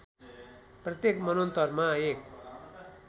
प्रत्येक मन्वन्तरमा एक